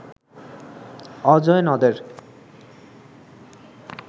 অজয় নদের